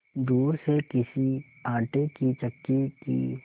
दूर से किसी आटे की चक्की की